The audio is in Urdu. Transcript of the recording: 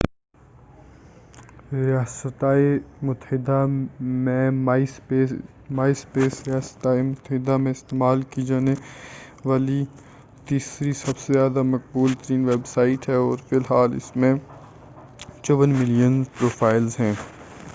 myspace ریاستہائے متحدہ میں استعمال کی جانے والی تیسری سب سے زیادہ مقبول ویب سائٹ ہے اور فی الحال اس میں 54 ملین پروفائلز ہیں